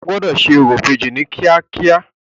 O gbọ́dọ̀ ṣe orò ìbejì ní kíákíá.